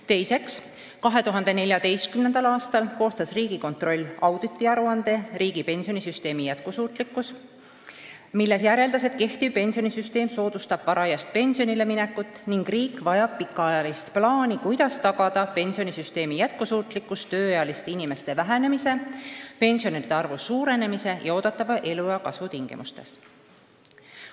Teiseks, 2014. aastal koostas Riigikontroll auditiaruande "Riigi pensionisüsteemi jätkusuutlikkus", milles järeldas, et kehtiv pensionisüsteem soodustab varajast pensionile minekut ning riik vajab pikaajalist plaani, kuidas tagada pensionisüsteemi jätkusuutlikkus tööealiste inimeste vähenemise, pensionäride arvu suurenemise ja eeldatava eluea kasvu tingimustes.